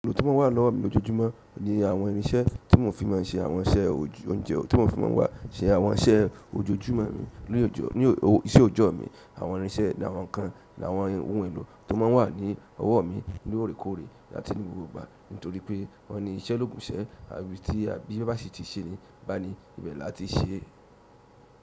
Èlò tó ma ń wà lọ́wọ́ mi lójoojúmọ́ ni àwọn irinṣẹ́ tí mò fi ma ń se àwọn iṣẹ́ oúnjẹ, tí mò fi ma ń wá ṣe àwọn iṣẹ́ ojoojúmọ́ mi lí ọ̀jọ́, ní iṣẹ́ òjọ́ ọ̀ mi. Àwọn irinṣẹ́ ni àwọn ǹkan, ni àwọn ohun èlò tó má ń wà ní ọwọ́ ọ̀ mi lóòrèkóòrè àti ní gbogbo ìgbà. Nítorí pé wọ́n ní iṣẹ́ lòògùn ìṣẹ́, àbí tí ẹ, bíṣẹ́ bá sì ti ṣe ni báni, ibẹ̀ làá ti í ṣe é.